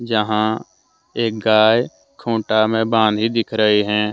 यहाँ एक गाय खुटा मे बाधी दिख रही है।